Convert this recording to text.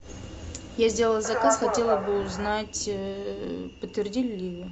я сделала заказ хотела бы узнать подтвердили ли его